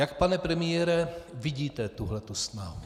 Jak, pane premiére, vidíte tuhle snahu?